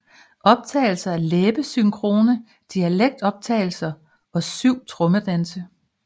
Optagelser af læbesynkrone dialektoptagelser og syv trommedanse